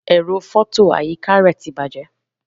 Ẹ̀rọ fọto àyíká rẹ ti bàjẹ́.